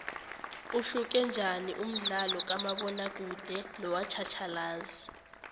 uhluke njaniumdlalokamabona kude nowatjhatjhalazi